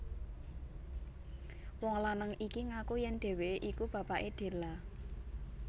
Wong lanang iki ngaku yèn dheweké iku bapaké Della